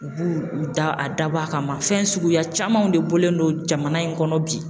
U b'u u da a dabɔ a kama fɛn suguya camanw de bɔlen don jamana in kɔnɔ bi